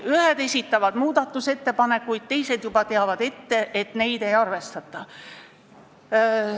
Ühed esitavad muudatusettepanekuid ja teised teavad juba ette, et neid ei arvestata.